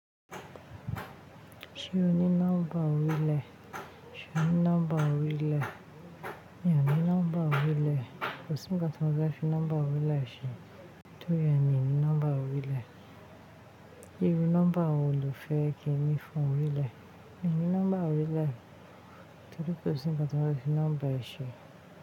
Ṣé o ní nọ́mbà orílẹ̀? Ṣé ọ ní nọ́mbà orílẹ̀? Mi ò ní nọ́mbà orílẹ̀. Kò sí ǹkan ti mofẹ fi nọ́mbà orílẹ̀ ṣe. Tó ri rẹ mi ní nọ́mbà orílẹ̀. Iru nọ́mbà wo lo fẹ́ kí ńi fún orílẹ̀? Mi ò ní nọ́mbà orílẹ̀. Torí kò sí ǹkan tí mofẹ fi nọ́mbà ẹ ṣe.